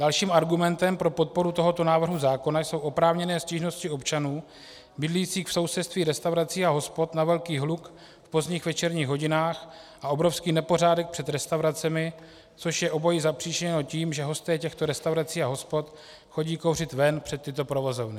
Dalším argumentem pro podporu tohoto návrhu zákona jsou oprávněné stížnosti občanů bydlících v sousedství restaurací a hospod na velký hluk v pozdních večerních hodinách a obrovský nepořádek před restauracemi, což je obojí zapříčiněno tím, že hosté těchto restaurací a hospod chodí kouřit ven před tyto provozovny.